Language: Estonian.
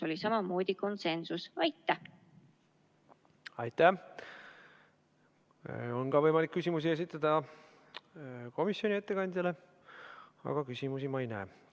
Komisjoni ettekandjale on võimalik ka küsimusi esitada, aga küsimusi ma ei näe.